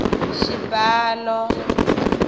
xibalo